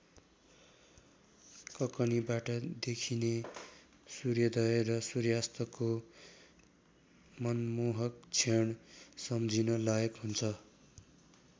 ककनीबाट देखिने सूर्योदय र सूर्यास्तको मनमोहक क्षण सम्झन लायक हुन्छ।